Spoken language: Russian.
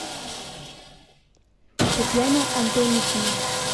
татьяна антонишина